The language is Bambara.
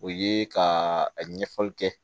O ye ka a ɲɛfɔli kɛ